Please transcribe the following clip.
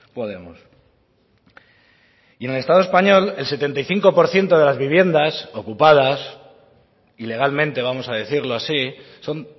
podemos y en el estado español el setenta y cinco por ciento de las viviendas ocupadas ilegalmente vamos a decirlo así son